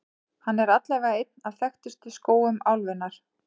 Hann er allavega einn af þekktustu skógum álfunnar.